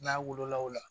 N'a wolola o la